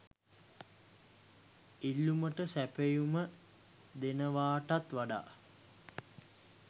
ඉල්ලුමට සැපයුම දෙනවටත් වඩා